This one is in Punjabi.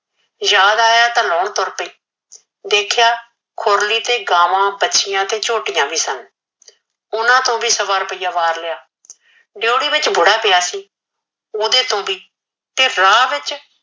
ਯਾਦ ਆਇਆ ਤਾ ਲਾਹੁਣ ਤੁਰ ਪੀ ਦੇਖਿਆ ਖੁਰਲੀ ਤੇ ਗਾਵਾ ਵਾਛਿਆ ਤੇ ਝੋਟੀਆ ਵੀ ਸਨ ਓਹਨਾ ਤੇ ਵੀ ਸਵਾ ਰੁਪਇਆ ਵਾਰ ਲਿਆ ਡੇਓਡੀ ਵਿਚ ਬੁੜਾ ਪਿਆ ਸੀ ਤੇ ਰਾਹ ਵਿਚ